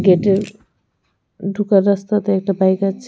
গেটের ঢুকার রাস্তাতে একটা বাইক আছে.